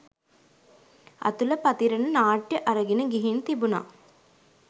අතුල පතිරණ නාට්‍ය අරගෙන ගිහින් තිබුණ.